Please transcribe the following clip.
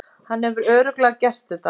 Hann hefur örugglega gert þetta.